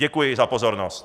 Děkuji za pozornost.